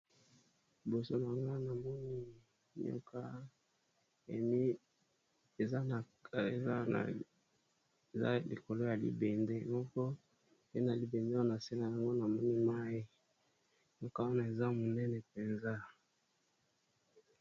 Liboso na nga na moni nyoka emi eza na za likolo ya libende moko pe na libende wana sena yango na moni mai nioka wana eza monene mpenza.